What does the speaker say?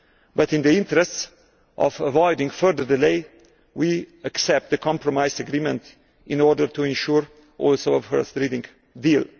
But in the interests of avoiding further delays, we accept the compromise agreement in order to ensure a first reading deal.